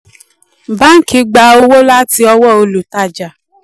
báńkì gbà owó láti ọwọ́ olùtajà